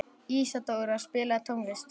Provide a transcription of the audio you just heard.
Ísadóra, spilaðu tónlist.